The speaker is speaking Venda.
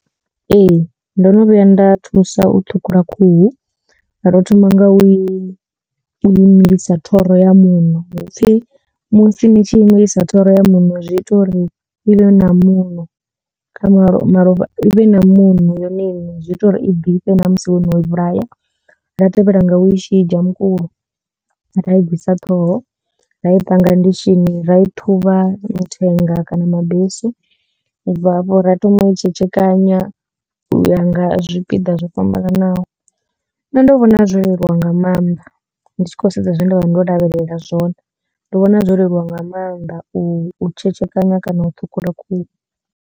Ee ndo no vhuya nda thusa u ṱhukhula khuhu nda to thoma nga u i imilisa thoro ya muṋo hupfi musi ni tshi imilisa thoro ya muṋo zwi ita uri i vhe na muṋo kha malo malofha i vhe na muṋo yone iṋe zwi ita uri i ḓifhe ṋamusi wo no i vhulaya. Nda tevhela nga u i shidzha mukulo ra i bvisa ṱhoho ra i panga ndishini ra i ṱhuvha mithenga kana mabesu. U bva hafho ra thoma u i tshetshekana u ya nga zwipiḓa zwo fhambananaho nṋe ndo vhona zwo leluwa nga maanḓa ndi tshi khou sedza zwe nda vha ndo lavhelela zwone ndo vhona zwo leluwa nga maanḓa u tshetshekanya kana u ṱhukhula khuhu.